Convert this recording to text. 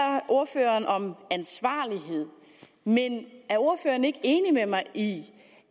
ordføreren om ansvarlighed men er ordføreren ikke enig med mig i